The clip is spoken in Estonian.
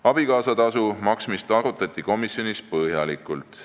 Abikaasatasu maksmist arutati komisjonis põhjalikult.